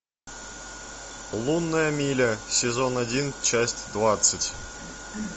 лунная миля сезон один часть двадцать